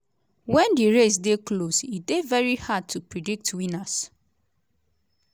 wen di race dey close e dey veri hard to predict winners.